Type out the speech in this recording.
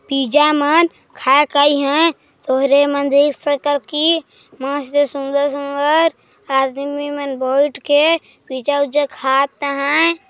Pizza मन खाईक आय हे तोहरे मन देख सकल की मस्त सुन्दर सुन्दर आदमी मन बैठ के पिज़्ज़ा उज्जा खात हैं।